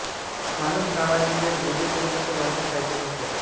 माणूस नावाचे बेट विजय तेंडुलकर यांची साहित्यकृती आहे